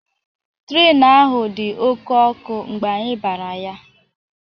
Trenu ahu dị oké ọkụ mgbe anyị bara ya